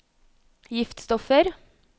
giftstoffer